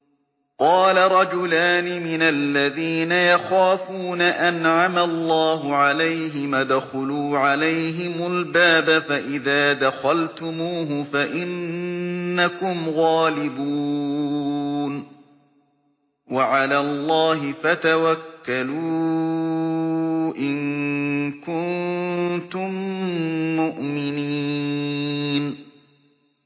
قَالَ رَجُلَانِ مِنَ الَّذِينَ يَخَافُونَ أَنْعَمَ اللَّهُ عَلَيْهِمَا ادْخُلُوا عَلَيْهِمُ الْبَابَ فَإِذَا دَخَلْتُمُوهُ فَإِنَّكُمْ غَالِبُونَ ۚ وَعَلَى اللَّهِ فَتَوَكَّلُوا إِن كُنتُم مُّؤْمِنِينَ